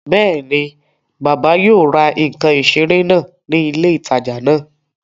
Bẹ́ẹ̀ni, bàbá yóò ra ǹkan ìseré náà ní ilé ìtajà náà